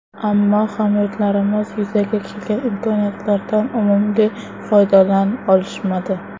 Ammo hamyurtlarimiz yuzaga kelgan imkoniyatlardan unumli foydalan olishmadi.